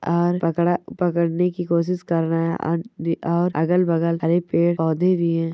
और पाकड़ा पाकड़ने की कोशिस कर रहे हैं और द और अगल-बगल हरे पेड़-पौधे भी हैं।